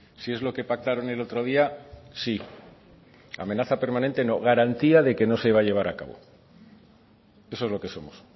si es lo que pactaron el otro día sí amenaza permanente no garantía de que no se va a llevar a cabo eso es lo que somos